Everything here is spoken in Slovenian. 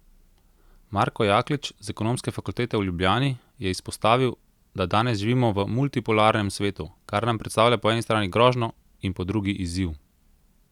Marko Jaklič z Ekonomske fakultete v Ljubljani je izpostavil, da danes živimo v multipolarnem svetu, kar nam predstavlja po eni strani grožnjo in po drugi izziv.